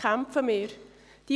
Wogegen kämpfen wir an?